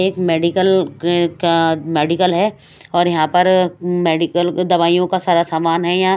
एक मेडिकल के का मेडिकल है और यहां पर मेडिकल दवाइयों का सारा सामान है यहां।